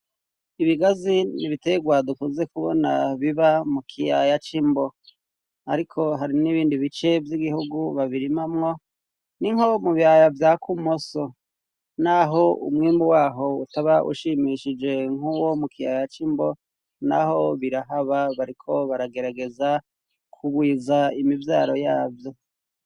ibigazi n'ibiterwa dukunze kubona biba mu kiyaya c'imbo. ariko hari n'ibindi bice vy'igihugu babirimamwo, ni nko mu biyaya vya kumoso, n'aho umwimbu waho utaba ushimishije nk'uwo mu kiyaya c'imbo, n'aho birahaba bariko baragerageza kugwiza imibyaro yabyo.